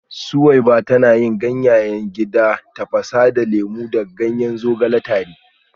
Suweiba tana yin ganyayen gida ta tafasa lemu da ganyen zogale tare